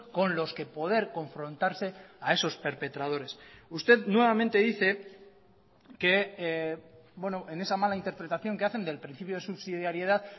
con los que poder confrontarse a esos perpetradores usted nuevamente dice que en esa mala interpretación que hacen del principio de subsidiariedad